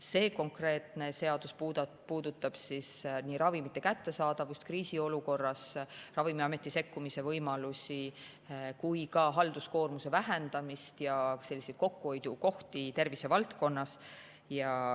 See konkreetne seadus puudutab nii ravimite kättesaadavust, kriisiolukorras Ravimiameti sekkumise võimalusi kui ka halduskoormuse vähendamist, samuti kokkuhoiukohti tervise valdkonnas.